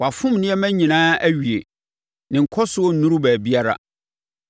Wafom nneɛma nyinaa awie; ne nkɔsoɔ nnuru baabiara.